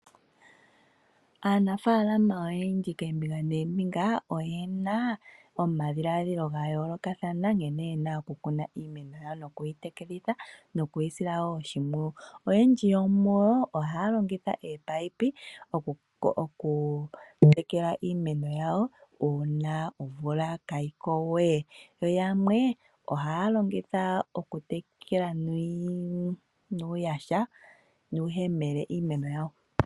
Aanafaalama oyendji keembinga neembinga oyena omadhiladhilo ga yoolokathana nkena ye na oku kuna iimeno yawo nokuyi tekelitha, noku yisila woo oshimpwuyu. Oyendji yomuyo oha ya longitha ominino oku tekela iimeno yawo uuna omvula ka yi ko wee, yo yamwe ohaya longitha oku tekela nuuyaha, nuuhemele iimeno yawo.